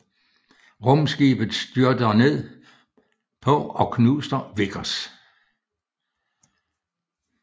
Rumskibet styrter ned på og knuser Vickers